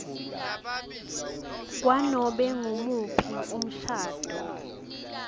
kwanobe ngumuphi umshado